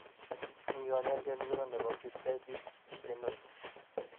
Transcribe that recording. Mi kanyoiset ngiro ne bo Pityriasis lichenoids?